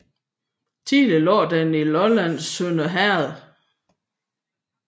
Tidligere lå den i Lollands Sønder Herred